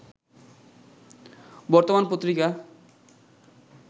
বর্তমান পত্রিকা